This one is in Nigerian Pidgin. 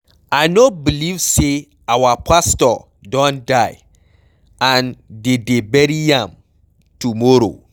I no believe say our pastor don die and de dey bury am tomorrow.